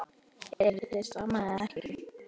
Eruð þið saman eða ekki?